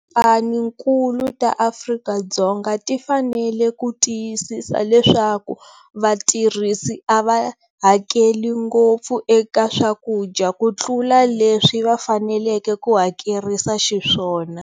Tikhaphanikulu ta Afrika-Dzonga ti fanele ku tiyisisa leswaku vatirhisi a va hakeli ngopfu eka swakudya kutlula leswi va faneleke ku hakerisa xiswona.